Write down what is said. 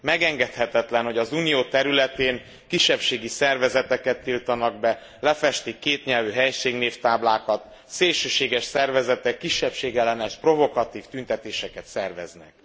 Megengedhetetlen, hogy az Unió területén kisebbségi szervezeteket tiltanak be, lefestik a kétnyelvű helységnévtáblákat, szélsőséges szervezetek kisebbségellenes, provokatív tüntetéseket szerveznek.